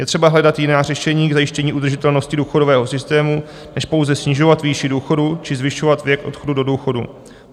Je třeba hledat jiná řešení k zajištění udržitelnosti důchodového systému než pouze snižovat výši důchodů či zvyšovat věk odchodu do důchodu.